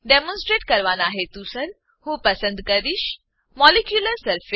demonstrate કરવાનાં હેતુસર હું પસંદ કરીશ મોલિક્યુલર સરફેસ મોલેક્યુલર સરફેસ